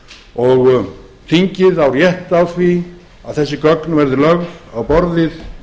og þingið á rétt á því að þessi gögn verði lögð á borðið